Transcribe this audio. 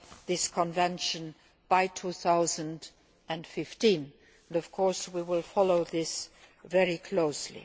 this Convention by 2015 and, of course, we will follow this very closely.